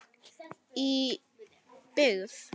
Í byggð